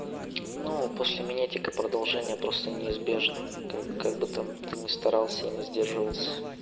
но после меня дико продолжение просто неизбежно как как бы там ты не старался и не сдержался